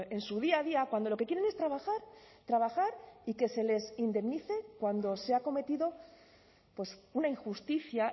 en su día a día cuando lo que quieren es trabajar trabajar y que se les indemnice cuando se ha cometido pues una injusticia